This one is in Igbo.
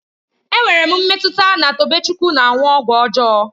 Enwere m mmetụta na Tobechukwu na-aṅụ ọgwụ ọjọọ